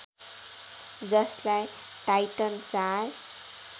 जसलाई टाइटन ४